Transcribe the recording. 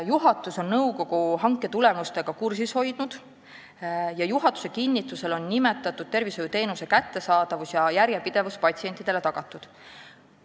Juhatus on nõukogu hanke tulemustega kursis hoidnud ning juhatuse kinnitusel on nimetatud tervishoiuteenuse kättesaadavus ja järjepidevus patsientidele tagatud.